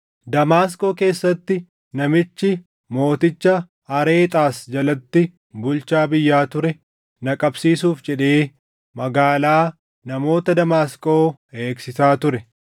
Damaasqoo keessatti namichi mooticha Areexaas jalatti bulchaa biyyaa ture na qabsiisuuf jedhee magaalaa namoota Damaasqoo eegsisaa ture.